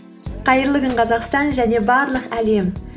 қайырлы күн қазақстан және барлық әлем